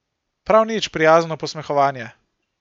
Prav nič prijazno posmehovanje.